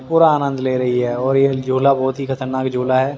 पूरा आनंद ले रही है और यह झोला बहुत ही खतरनाक झोला है।